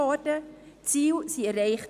Die Ziele wurden erreicht.